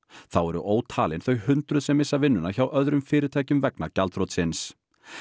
þá eru ótalin þau hundruð sem missa vinnuna hjá öðrum fyrirtækjum vegna gjaldþrotsins